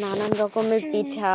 নানান রকমের পিঠা।